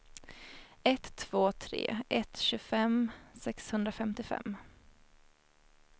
ett två tre ett tjugofem sexhundrafemtiofem